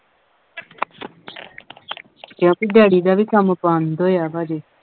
ਕਿਉਂਕਿ daddy ਦਾ ਵੀ ਕੰਮ ਬੰਦ ਹੋਇਆ ਵਾ ਹਜੇ।